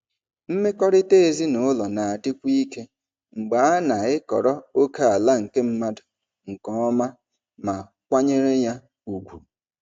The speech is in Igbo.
Mmekọrịta ezinụlọ na-adịkwu ike mgbe a na-ekọrọ ókèala nke mmadụ nke ọma ma kwanyere ya ùgwù.